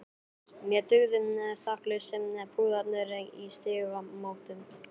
Mér dugðu saklausu púðarnir í Stígamótum!